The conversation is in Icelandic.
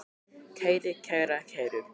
kæri, kæra, kæru